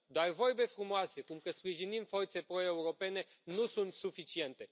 Doar vorbe frumoase cum că sprijinim forțe pro europene nu sunt suficiente.